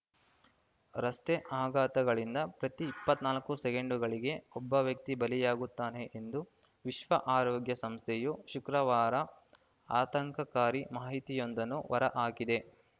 ರಸ್ತೆ ಅಪಘಾತಗಳಿಂದ ಪ್ರತಿ ಇಪ್ಪತ್ತ್ ನಾಲ್ಕು ಸೆಕೆಂಡುಗಳಿಗೆ ಒಬ್ಬ ವ್ಯಕ್ತಿ ಬಲಿಯಾಗುತ್ತಾನೆ ಎಂದು ವಿಶ್ವ ಆರೋಗ್ಯ ಸಂಸ್ಥೆಯು ಶುಕ್ರವಾರ ಆತಂಕಕಾರಿ ಮಾಹಿತಿಯೊಂದನ್ನು ಹೊರಹಾಕಿದೆ